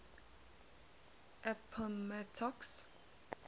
appomattox